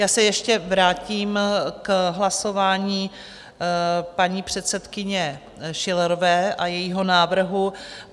Já se ještě vrátím k hlasování paní předsedkyně Schillerové a jejího návrhu.